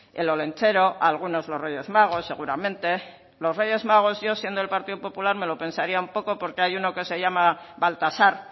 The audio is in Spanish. el olentzero a algunos los reyes magos seguramente los reyes magos yo siendo del partido popular me lo pensaría un poco porque hay uno que se llama baltasar